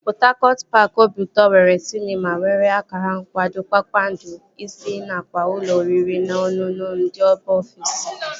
Pọt Hakọt paaki obiụtọ nwere sịnema nwere akara nkwado kpakpando ise nakwa ụlọ oriri na ọṅụṅụ ndị mba ofesi